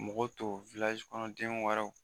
Mɔgɔ tɔ kɔnɔden wɛrɛw